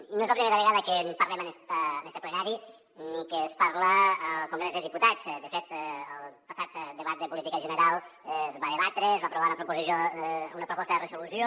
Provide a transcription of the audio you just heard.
i no és la primera vegada que en parlem en este plenari ni que es parla al congrés dels diputats de fet al passat debat de política general es va debatre es va aprovar una proposta de resolució